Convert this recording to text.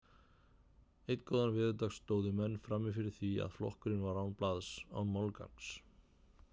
Einn góðan veðurdag stóðu menn frammi fyrir því að flokkurinn var án blaðs, án málgagns.